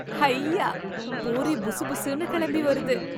ஹையா பூரி புசுபுசுன்னு கிளம்பி வருது